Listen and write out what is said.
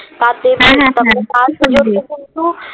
তাতে কিন্তু